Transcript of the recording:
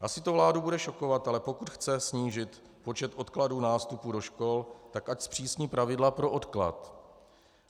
Asi to vládu bude šokovat, ale pokud chce snížit počet odkladů nástupů do školy, tak ať zpřísní pravidla pro odklad,